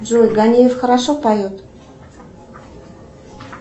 джой ганиев хорошо поет